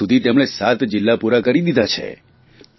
હજી સુધી તેમણે સાત જિલ્લા પૂરા દીધા છે